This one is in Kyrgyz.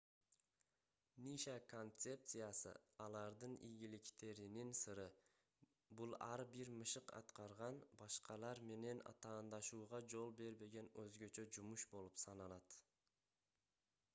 ниша концепциясы алардын ийгиликтеринин сыры бул ар бир мышык аткарган башкалар менен атаандашууга жол бербеген өзгөчө жумуш болуп саналат